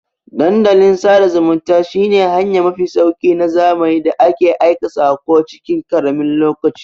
Dandalin sada zumunta shi ne hanya mafi sauki na zamani da ake aika sako cikin karamin lokaci